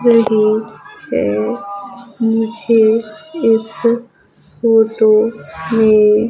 रही है मुझे इस फोटो में--